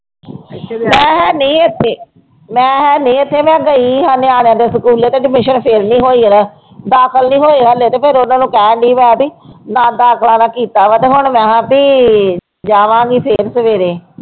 ਮੈਂ ਹੈ ਨੀ ਇੱਥੇ ਮੈਂ ਹੈ ਨੀ ਇੱਥੇ, ਮੈਂ ਗਈ ਨਿਆਣਿਆਂ ਦੇ ਸਕੂਲੇ ਤੇ admission ਫਿਰ ਨੀ ਹੋਈ ਉਰੇ, ਦਾਖਲ ਨੀ ਹੋਏ ਹਾਲੇ ਤੇ ਫਿਰ ਉਹਨਾਂ ਨੂੰ ਕਹਿਣ ਦਾ ਦਾਖਲਾ ਤਾਂ ਕੀਤਾ ਵਾ ਤੇ ਹੁਣ ਮੈਂ ਵੀ ਜਾਵਾਂਗੀ ਫਿਰ ਸਵੇਰੇ।